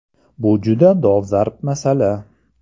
– Bu juda dolzarb masala.